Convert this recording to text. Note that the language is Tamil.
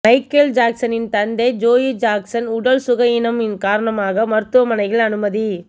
மைக்கேல் ஜாக்சனின் தந்தை ஜோயி ஜாக்சன் உடல் சுகயீனம் காரணமாக மருத்துவமனையில் அனுமதி